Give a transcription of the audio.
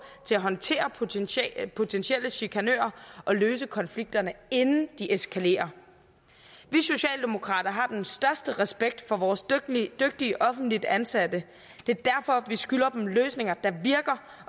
til at håndtere potentielle potentielle chikanører og løse konflikterne inden de eskalerer vi socialdemokrater har den største respekt for vores dygtige offentligt ansatte det er derfor vi skylder dem løsninger der virker